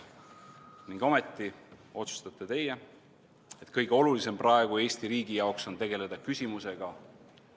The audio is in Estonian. Ning ometi otsustate teie, et kõige olulisem praegu Eesti riigi jaoks on tegeleda abieluküsimusega.